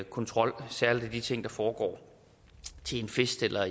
kontrol særlig af de ting der foregår til en fest eller